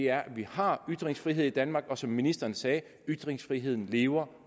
er at vi har ytringsfrihed i danmark og som ministeren sagde ytringsfriheden lever